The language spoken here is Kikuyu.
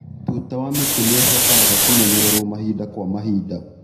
Tuta wa mĩtĩ nĩ ũbataraga kũmenyererwo mahinda kwa mahinda.